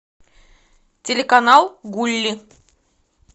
телеканал гулли